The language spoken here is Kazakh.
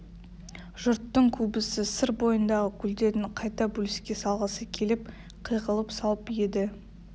жұрттың көбісі сыр бойындағы көлдерді қайта бөліске салғысы келіп қиғылық салып еді